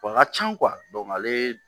Wa a ka can ale